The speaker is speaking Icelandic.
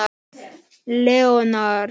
Leonard